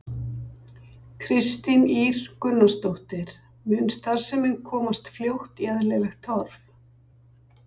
Kristín Ýr Gunnarsdóttir: Mun starfsemin komast fljótt í eðlilegt horf?